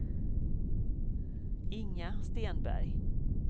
Inga Stenberg